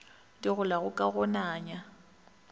di golago ka go nanya